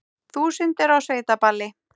Þúsundir á sveitaballi